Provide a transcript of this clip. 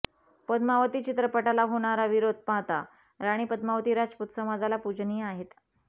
पद्मावती चित्रपटाला होणारा विरोध पाहता राणी पद्मावती राजपूत समाजाला पूजनीय आहेत